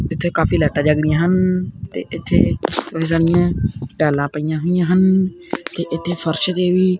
ਇੱਥੇ ਕਾਫੀ ਲਾਈਟਾਂ ਜਗ ਰਹੀਆ ਹਨ ਤੇ ਇੱਥੇ ਟੈਲਾਂ ਪਈਆਂ ਹੋਈਆਂ ਹਨ ਤੇ ਇੱਥੇ ਫਰਸ਼ ਦੇ ਵੀ--